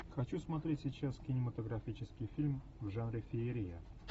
хочу смотреть сейчас кинематографический фильм в жанре феерия